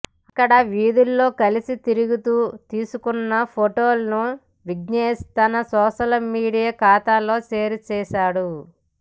అక్కడి వీధుల్లో కలిసి తిరుగుతూ తీయించుకున్న ఫొటోలను విఘ్నేష్ తన సోషల్ మీడియా ఖాతాలో షేర్ చేశాడు